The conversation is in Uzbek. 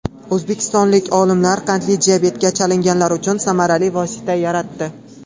O‘zbekistonlik olimlar qandli diabetga chalinganlar uchun samarali vosita yaratdi.